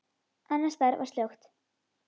Annars staðar var slökkt.